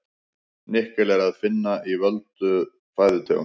Nikkel er að finna í fjölda fæðutegunda.